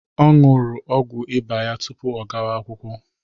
Ọ ñyuru ọgwu Ịba ya tupu ọ gawa-akwụkwọ.